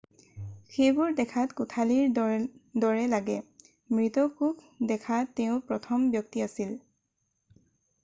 সেইবোৰ দেখাত কোঠালিৰ দৰে লাগে মৃত কোষ দেখা তেওঁ প্ৰথম ব্যক্তি আছিল